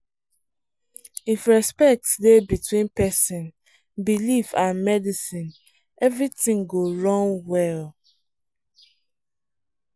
if respect dey between person belief and medicine everything go run well.